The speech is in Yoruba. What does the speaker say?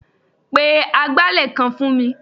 Pe agbálẹ̀ kan fún mi.